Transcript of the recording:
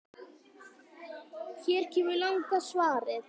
Hér kemur langa svarið